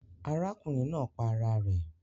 Arákùnrin naa pa ara rè